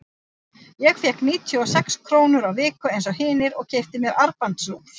Ég fékk níutíu og sex krónur á viku eins og hinir og keypti mér armbandsúr.